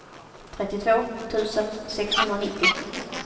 trettiotvå tusen sexhundranittio